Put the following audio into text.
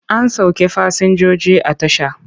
An sauke fasinjoji a tasha.